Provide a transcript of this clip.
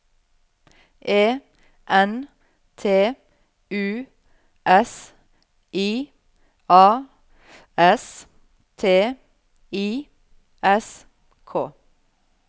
E N T U S I A S T I S K